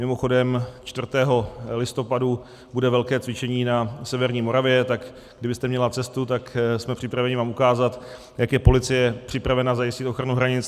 Mimochodem 4. listopadu bude velké cvičení na severní Moravě, tak kdybyste měla cestu, tak jsme připraveni vám ukázat, jak je policie připravena zajistit ochranu hranic.